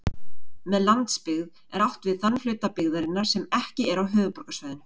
Með landsbyggð er átt við þann hluta byggðarinnar sem ekki er á höfuðborgarsvæðinu.